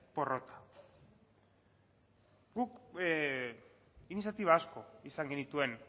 porrota guk iniziatiba asko izan genituen